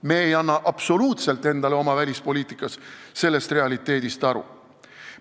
Me ei anna absoluutselt endale oma välispoliitikas sellest realiteedist aru.